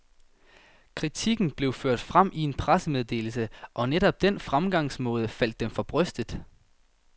Kritikken blev ført frem i en pressemeddelse, og netop den fremgangsmåde faldt dem for brystet.